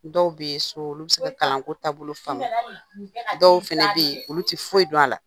Dɔw bɛ yen so olu bɛ se ka kalanko taabolo faamuya, dɔw fana bɛ yen olu tɛ foyi dɔn a la.